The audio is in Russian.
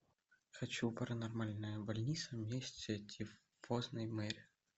хочу паранормальная больница месть тифозной мэри